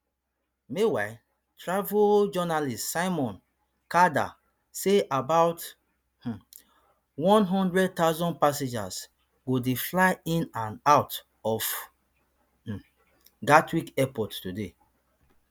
meanwhile travel journalist simon calder say about um one hundred thousand passengers go dey fly in and out of um gatwick airport today